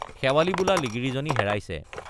শেৱালি বোলা লিগিৰীজনী হেৰাইছে।